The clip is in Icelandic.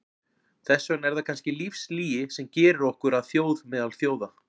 Þess vegna er það kannski lífslygi sem gerir okkur að þjóð meðal þjóða.